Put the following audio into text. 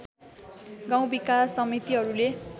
गाउँ विकास समितिहरूले